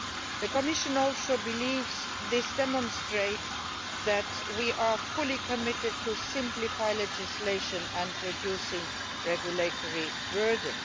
The Commission also believes this demonstrates that we are fully committed to simplifying legislation and reducing the regulatory burden.